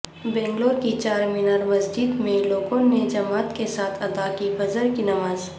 بنگلورو کی چارمینار مسجد میں لوگوں نے جماعت کے ساتھ ادا کی فجر کی نماز